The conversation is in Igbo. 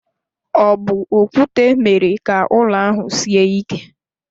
Ọ bu okwute mere ka ụlọ ahụ sie ike.